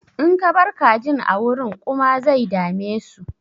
In ka bar kajin a wurin ƙuma zai dame su.